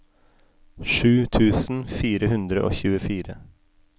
sju tusen fire hundre og tjuefire